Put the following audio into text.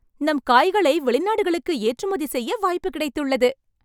நம் காய்களை வெளிநாடுகளுக்கு ஏற்றுமதி செய்ய வாய்ப்பு கிடைத்துள்ளது